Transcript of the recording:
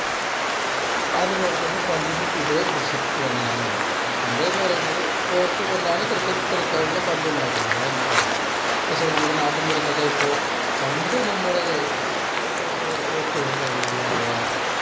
അതുപോലെതന്നെ പന്തിനും ഇതേ പ്രസക്തി തന്നെയാണ് ഉള്ളത് പന്ത് എന്ന് പറയുന്നത് coke കൊണ്ടാണ് cricket കളിക്കാരുടെ പന്തുണ്ടാക്കുന്നത് അത് നമ്മക്കറിയാം. പക്ഷേ നമ്മുടെ നാട്ടിൻ പുറത്തൊക്കെ ഇപ്പോ പണ്ട് നമ്മുടെ ഓർത്ത് നോക്കുകയാണെങ്കിൽ അഥവാ